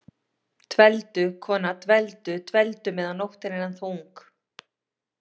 Dveldu, kona, dveldu- dveldu meðan nóttin er ennþá ung.